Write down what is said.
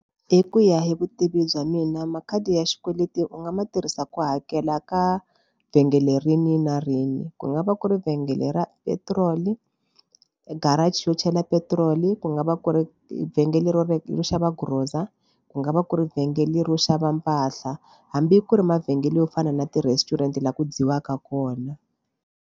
Hi ku ya hi vutivi bya mina makhadi ya xikweleti u nga ma tirhisa ku hakela ka vhengele rihi na rihi ku nga va ku ri vhengele ra petiroli garage yo chela petiroli ku nga va ku ri vhengele ro rero xava grocer ku nga va ku ri vhengele ro xava mpahla hambi ku ri mavhengele yo fana na ti-restaurant laha ku dyiwaka kona.